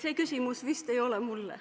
See küsimus vist ei ole mulle.